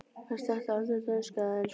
Hann sletti aldrei dönsku eða ensku.